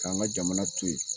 K'an ka jamana to ye